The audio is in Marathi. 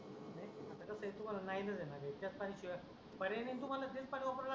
नाही आता कस आहे तुम्हाला नाइलाज आहे न त्याच पाण्याशिवाय पर्याय नाही तुम्हाला तेच पानी वापरा लागन.